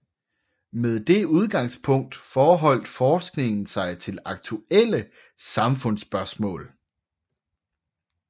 Med det udgangspunkt forholdt forskningen sig til aktuelle samfundsspørgsmål